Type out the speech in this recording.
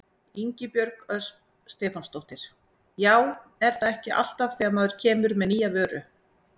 Ingibjörg Ösp Stefánsdóttir: Já er það ekki alltaf þegar maður kemur með nýja vöru?